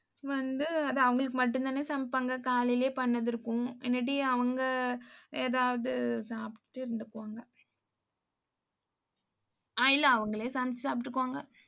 வந்து அது அவங்களுக்கு மட்டும் தானே சமைப்பாங்க. காலையிலேயே பண்ணது இருக்கும். இல்லாட்டி அவங்க ஏதாவது சாப்பிட்டு இருந்துக்குவாங்க அஹ் இல்ல அவங்களே சமைச்சு சாப்பிட்டுக்குவாங்க.